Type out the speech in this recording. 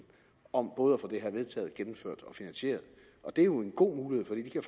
om både at få det her vedtaget gennemført og finansieret det er jo en god mulighed for det giver